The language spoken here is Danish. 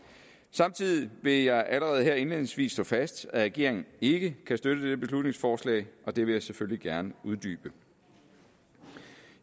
samtidig vil jeg allerede her indledningsvist slå fast at regeringen ikke kan støtte dette beslutningsforslag og det vil jeg selvfølgelig gerne uddybe